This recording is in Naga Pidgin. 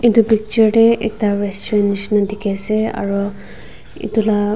etu picture tey ekta restaurant nishina dikhi ase aroo etu la --